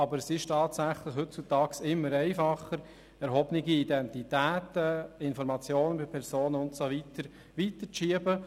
Aber heutzutage ist es tatsächlich immer einfacher, erhobene Identitäten, Informationen über Personen und ähnliches weiterzuschieben.